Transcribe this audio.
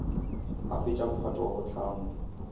a fetša mphato wa bohlano